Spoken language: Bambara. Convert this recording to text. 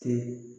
Kɛ